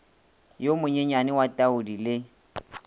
yo monyenyane wa tuadi le